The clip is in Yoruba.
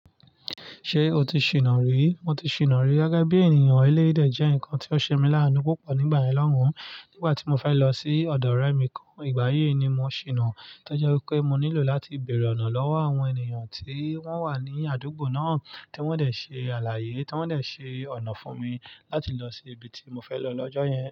Ṣé o ti ṣìná rí? Mo ti ṣìná rí. Gẹ́gẹ́ bí ènìyàn eléyii de jẹ́ nǹkan tí ó ṣe mí láánú púpọ̀ nígbà yen lọ́run. Nígbà tí mo fẹ́ lọ sí ọ̀dọ̀ ọ̀rẹ́ mi kan, ìgbàyi ni mo ṣìná. Tọ́je wipé mo nílò láti bèèrè ọ̀nà lọ́wọ́ àwọn ènìyàn tí wọ́n wà ní àdúgbò náà, tí wọ́n dẹ̀ ṣe àlàyé, tí wọ́n dẹ̀ ṣe ọ̀nà fún mi láti lọ sí ibi tí mo fẹ́ lọ lọ́jọ́ yẹn.